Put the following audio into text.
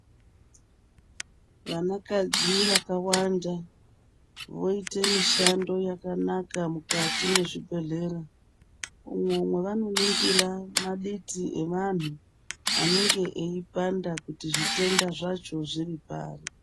Vana kadzi vakawanda voite mishando yakanaka mukati mwe zvibhedhlera umwo mwavano ningira maditi evantu anenge eyi panda kuti zvitenda zvacho zviri pari.